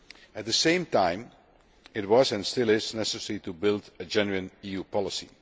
At the same time it was, and still is, necessary to build a genuine EU policy.